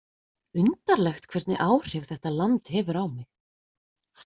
Undarlegt hvernig áhrif þetta land hefur á mig.